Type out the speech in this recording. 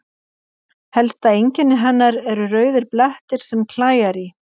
Helsta einkenni hennar eru rauðir blettir sem klæjar í.